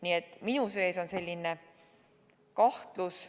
Nii et minu sees on kahtlus.